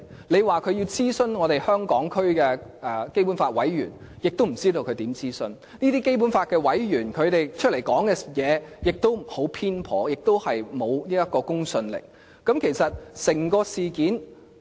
你說中央要諮詢香港區的基本法委員會委員，亦不知道他們是如何諮詢，這些委員的言論亦十分偏頗，而且沒有公信力。